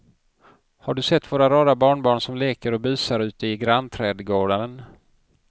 Har du sett våra rara barnbarn som leker och busar ute i grannträdgården!